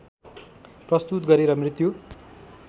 प्रस्तुत गरेर मृत्यु